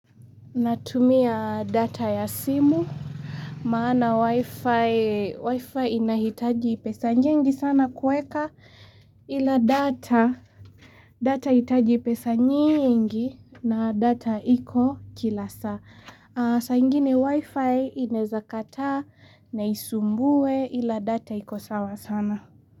Natumia data ya simu, maana wifi, wifi inahitaji pesa nyingi sana kuweka ila data, data hahitaji pesa nyingi na data iko Kila saa. Sa ingine wifi inezakata na isumbue ila data iko sawa sana.